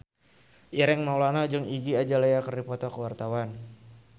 Ireng Maulana jeung Iggy Azalea keur dipoto ku wartawan